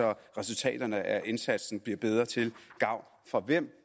så resultaterne af indsatsen bliver bedre til gavn for hvem